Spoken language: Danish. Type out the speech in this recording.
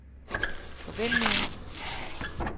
forventninger